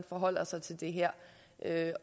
forholder sig til det her